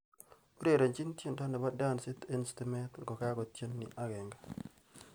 Urerenji tyendo nebo dansit eng stimet ngokagotyen ni agenge